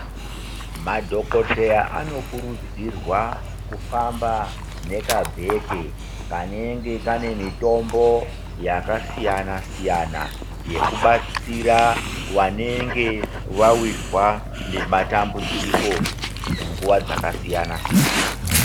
Madhokodheya anokurudzirwa kufamba nekabheke kanenge Kane mitombo yakasiyana siyana yekubatsira vanenge vawirwa nematambudziko munguwa dzakasiyana siyana.